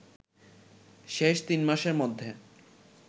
শেষ তিন মাসের মধ্যে